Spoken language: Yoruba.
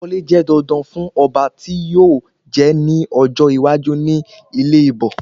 Ìgbà wọlé jẹ́ dandan fún Ọba tí yíò jẹ ní ọjọ́ iwájú ní ilẹ Íbò